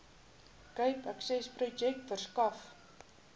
cape accessprojek verskaf